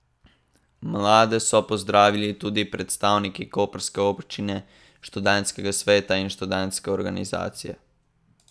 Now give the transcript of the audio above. Mlade so pozdravili tudi predstavniki koprske občine, študentskega sveta in študentske organizacije.